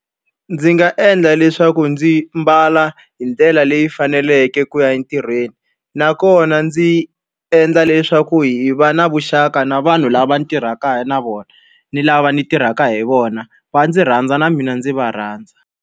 Ndzi nga endla leswaku ndzi mbala hi ndlela leyi faneleke ku ya entirhweni, nakona ndzi endla leswaku hi va na vuxaka na vanhu lava tirhaka na vona. Ni lava ni tirhaka hi vona, va ndzi rhandza na mina ndzi va rhandza.